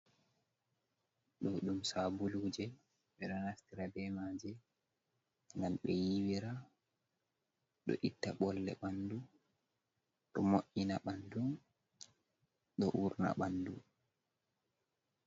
Ɗo ɗum sabuluje. Ɓeɗo naftira be maje ngam be yiwira ɗo itta ɓolle ɓandu, ɗo mo’ina ɓandu, ɗo urna ɓandu.